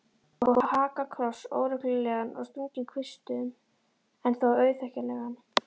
Og hakakross, óreglulegan og stunginn kvistum en þó auðþekkjanlegan.